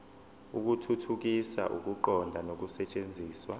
ukuthuthukisa ukuqonda nokusetshenziswa